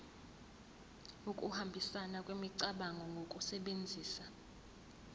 ukuhambisana kwemicabango ngokusebenzisa